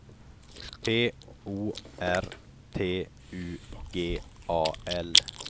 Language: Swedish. P O R T U G A L